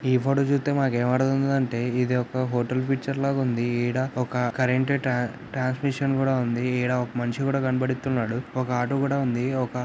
ఈ ఫోటో చూస్తే మనకి ఏం అర్ధమవుతుంది అంటే ఇది ఒక ఫోటో పిక్చర్ ల ఉందని ఈడ ఒక కరెంట్ టాంక్ మిషన్ కూడా ఉంది ఈడ ఒక మనిషి కూడా కనపడుతునడు ఒక ఆటో---